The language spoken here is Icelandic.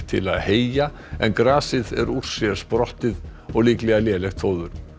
til að heyja en grasið er úr sér sprottið og líklega lélegt fóður